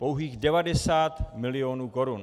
Pouhých 90 mil. korun.